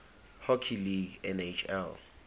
hockey league nhl